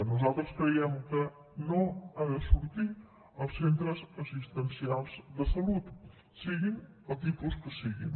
nosaltres creiem que no han de sortir els centres assistencials de salut siguin del tipus que siguin